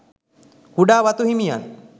කුඩා වතු හිමියන්